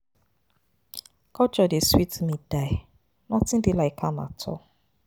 Culture dey sweet me die. Nothing dey like am at all.